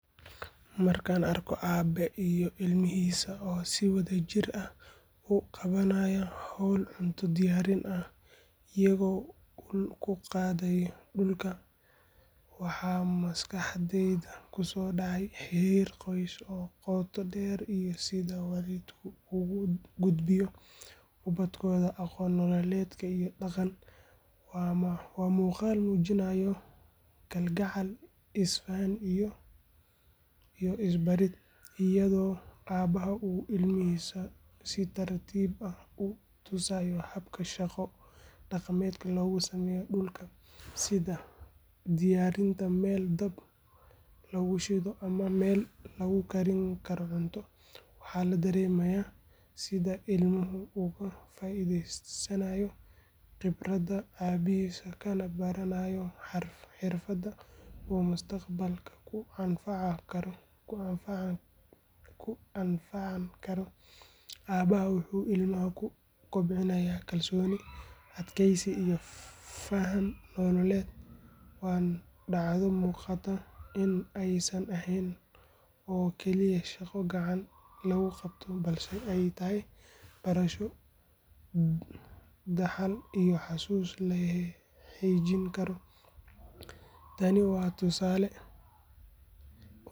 Markaan arko aabe iyo ilmihiisa oo si wadajir ah u qabanaya hawl cunto diyaarin ah iyagoo ul ku qodaya dhulka, waxa maskaxdayda kusoo dhacaya xiriir qoys oo qoto dheer iyo sida waalidku ugu gudbiyo ubadkooda aqoon nololeed iyo dhaqan. Waa muuqaal muujinaya kalgacal, is faham iyo is barid, iyadoo aabaha uu ilmihiisa si tartiib ah u tusayo habka shaqo dhaqameed loogu sameeyo dhulka, sida diyaarinta meel dab lagu shido ama meel lagu karin karo cunto. Waxaa la dareemayaa sida ilmuhu uga faa’iidaysanayo khibradda aabihiis, kana baranayo xirfad uu mustaqbalka ku anfacan karo. Aabaha wuxuu ilmaha ku kobcinayaa kalsooni, adkaysi iyo faham nololeed. Waa dhacdo muuqata in aysan ahayn oo keliya shaqo gacan lagu qabto balse ay tahay barasho, dhaxal iyo xasuus la xejin karo. Tani waa tusaale muujinaya.